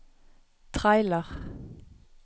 trailer